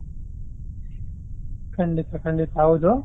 ಖಂಡಿತ ಖಂಡಿತ ಹೌದು.